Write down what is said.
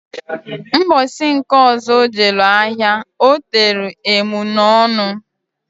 Mbosi nke ọzọ o jelu ahia otelu emunọnụ.